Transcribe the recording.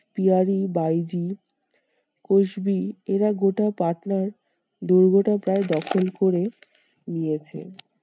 পিয়ারী বাইজি কসবি এরা গোটা পাটনার দুর্গটা প্রায় দখল করে নিয়েছেন।